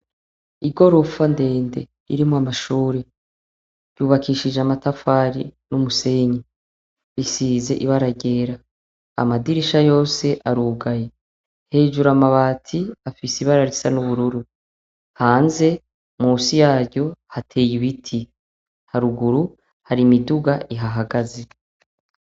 Igorofa ndende ririmwo amashure, ryubakishije amatafari n'umusenyi, risize ibara ryera, amadirisha yose arugaye. Hejuru amabati afise ibara risa n'ubururu, hanze musi yaryo hateye ibiti, haruguru hari imiduga ihahagaze.